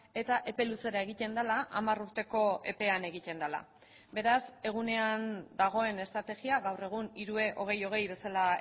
eta epe luzera egiten dela hamar urteko epean egiten dela beraz egunean dagoen estrategia gaur egun hiru e hogei hogei bezala